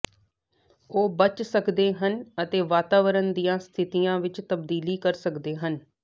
ਉਹ ਬਚ ਸਕਦੇ ਹਨ ਅਤੇ ਵਾਤਾਵਰਣ ਦੀਆਂ ਸਥਿਤੀਆਂ ਵਿੱਚ ਤਬਦੀਲੀ ਕਰ ਸਕਦੇ ਹਨ